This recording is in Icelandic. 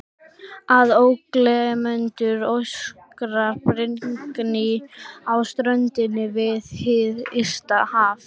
Að ógleymdum öskrandi brimgný á ströndinni við hið ysta haf.